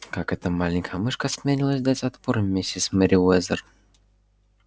как эта маленькая мышка осмелилась дать отпор миссис мерриуэзер